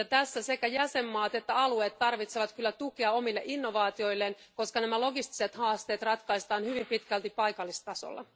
Tässä sekä jäsenvaltiot että alueet tarvitsevat tukea omille innovaatioilleen, koska nämä logistiset haasteet ratkaistaan hyvin pitkälti paikallistasolla.